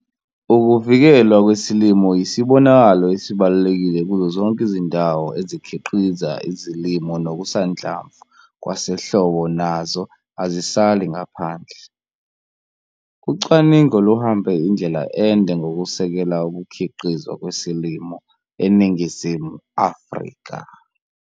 UKUVIKELWA KWESILIMO YISIBONAKALO ESIBALULEKILE KUZO ZONKE IZINDAWO EZIKHIQIZA IZILIMO NOKUSANHLAMVU KWASEHLOBO NAZO AZISALI NGAPHANDLE. UCWANINGO LUHAMBE INDLELA ENDE NGOKUSEKELA UKUKHIQIZWA KWESILIMO ENINGIZIMU AFRIKA.